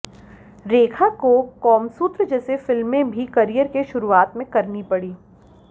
रेखा को कॉमसूत्र जैसी फिल्में भी करियर के शुरुआत में करनी पड़ीं